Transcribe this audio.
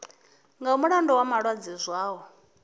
nga mulandu wa malwadze zwao